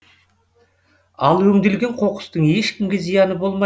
ал өңделген қоқыстың ешкімге зияны болмайды